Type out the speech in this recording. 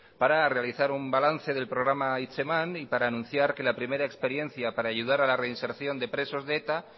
para realizar un balance del programa hitzeman y para anunciar que la primera experiencia para ayudar a la reinserción de presos de eta